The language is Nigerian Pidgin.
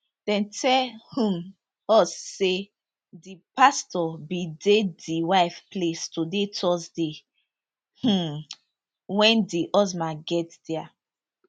dem tell um us say di pastor bin dey di wife place today thursday um wen di husband get dia